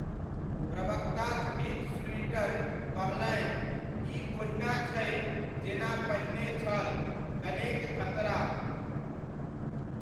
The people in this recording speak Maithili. प्रवक्ता जुडिथ स्लुइटर कहलनि, 'ई ओहिना छै जेना पहिने छल, कनेक खतरा'।